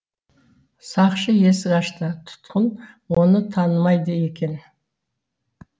сақшы есік ашты тұтқын оны танымайды екен